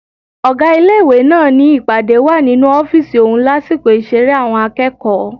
Ọ̀gá ilé-ìwé náà ni ìpàdé wà nínú ọ́fìsì òun lásìkò ìṣeré àwọn akẹ́kọ̀ọ́